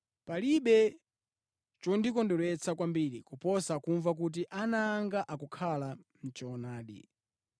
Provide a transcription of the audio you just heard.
Palibe chondikondweretsa kwambiri kuposa kumva kuti ana anga akukhala mʼchoonadi.